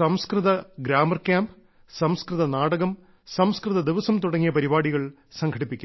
സംസ്കൃത grammar camp സംസ്കൃത നാടകം സംസ്കൃത ദിവസം തുടങ്ങിയ പരിപാടികൾ സംഘടിപ്പിക്കുന്നു